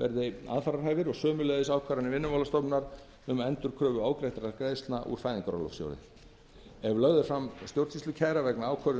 verði aðfararhæfir og sömuleiðis ákvarðanir vinnumálastofnunar um endurkröfu ofgreiddra greiðslna úr fæðingarorlofssjóði ef lögð er fram stjórnsýslukæra vegna ákvörðunar